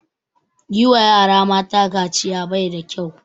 Yi wa yara mata kaciya bai da kyau